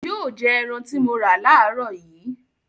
Yóò jẹ ẹran tí mo rà láàárọ̀ yìí.